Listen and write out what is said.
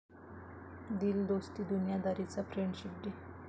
दिल दोस्ती दुनियादारी'चा friendship day